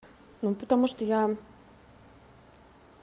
ну потому что я